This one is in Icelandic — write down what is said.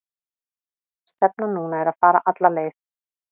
Stefnan núna er að fara alla leið.